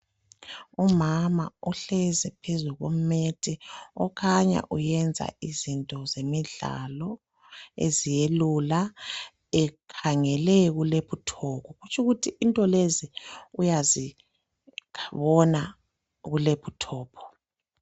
Umama uhlezi phezu kwemethi, okhanya uyenza izinto zemidlalo, eziyelula ekhangele kulephuthophu. Kutsho ukuthi into lezi uyazibona kulephuthophu.